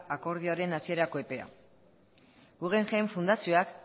akordioaren hasierako epea guggenheim fundazioak